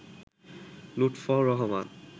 Lutfur Rahman